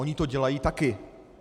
Oni to dělají taky.